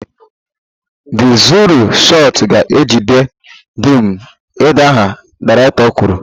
The zuru shot ga-ejide dum idaha, director kwuru